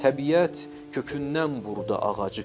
Təbiət kökündən vurdu ağacı.